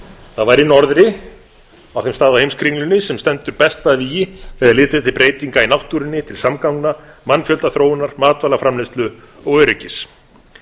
það væri í norðri á þeim stað á heimskringlunni sem stendur best að vígi þegar litið er til breytinga í náttúrunni til samgangna mannfjöldaþróunar matvælaframleiðslu og öryggis